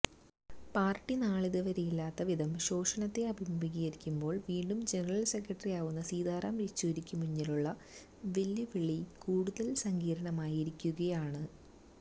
party നാളിതുവരെയില്ലാത്തവിധം ശോഷണത്തെ അഭിമുഖീകരിക്കുമ്പോൾ വീണ്ടും ജനറൽ സെക്രട്ടറിയാവുന്ന സീതാറാം യച്ചൂരിക്കു മുന്നിലുള്ള വെല്ലുവിളി കൂടുതൽ സങ്കീർണമായിരിക്കുകയാണ്